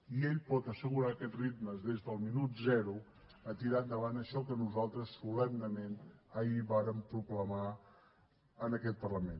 i ell pot assegurar aquest ritme des del minut zero a tirar endavant això que nosaltres solemnement ahir vàrem proclamar en aquest parlament